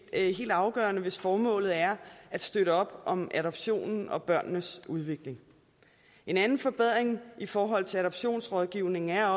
helt afgørende hvis formålet er at støtte op om adoptionen og børnenes udvikling en anden forbedring i forhold til adoptionsrådgivning er